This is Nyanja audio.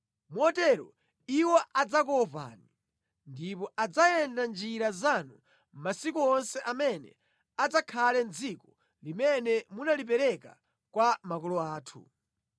motero iwo adzakuopani ndipo adzayenda mʼnjira zanu masiku onse amene adzakhale mʼdziko limene munalipereka kwa makolo athu.